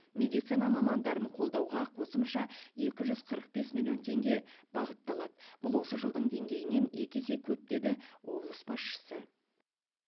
медицина мамандарын қолдауға қосымша екі жүз қырық бес миллион теңге бағытталады бұл осы жылдың деңгейінен екі есе көп деді облыс басшысы